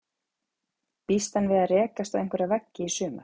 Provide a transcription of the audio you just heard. Býst hann við að rekast á einhverja veggi í sumar?